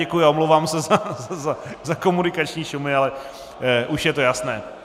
Děkuji a omlouvám se za komunikační šumy, ale už je to jasné.